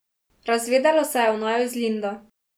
Razvedelo se je o naju z Lindo.